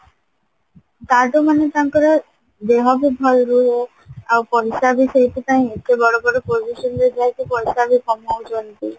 ତା ଠୁ ମାନେ ତାଙ୍କର ଦେହ ବି ଭଲ ରହିବ ଆଉ ପଇସା ବି ସେଇଥିପାଇଁ ଏତେ ବଡ ବଡ position ରେ ଯେହେତୁ ପଇସା ବି କମଉଛନ୍ତି